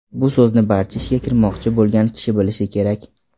Bu so‘zni barcha ishga kirmoqchi bo‘lgan kishi bilishi kerak.